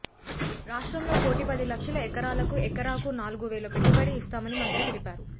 రాష్ట్రంలో కోటి పది లక్షల ఎకరాలకు ఎకరాకు నాలుగు వేల పెట్టుబడి ఇస్తామని మంత్రి తెలిపారు